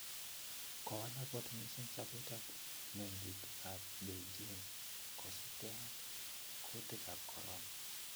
kowalak kot missing sopet ap mengik ap beijing kosip ke ag kutik ap korona